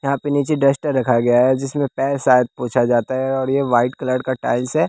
यहाँ पे नीचे डस्टर रखा गया है जिसमें पैर शायद पूछा जाता है और यह वाइट कलर का टाइल्स हैं।